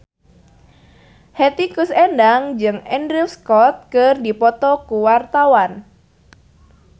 Hetty Koes Endang jeung Andrew Scott keur dipoto ku wartawan